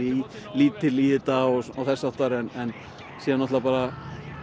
lítil í þetta og þess háttar en svo bara